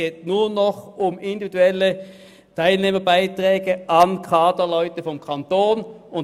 Nun geht es nur noch um individuelle Teilnehmerbeiträge an Kaderleute des Kantons.